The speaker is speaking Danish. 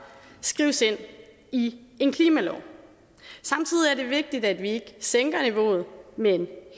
skrives ind i en klimalov samtidig er det vigtigt at vi ikke sænker niveauet men